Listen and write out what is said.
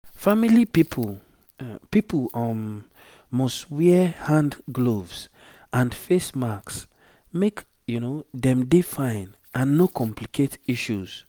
family pipo pipo um must wear hand gloves and face masks make dem dey fine and no complicate issues